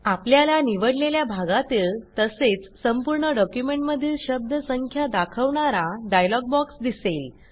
आपल्याला निवडलेल्या भागातील तसेच संपूर्ण डॉक्युमेंटमधील शब्द संख्या दाखवणारा डायलॉग बॉक्स दिसेल